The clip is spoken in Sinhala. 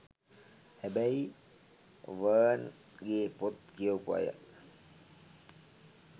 හැබැයි වර්න් ගේ පොත් කියවපු අය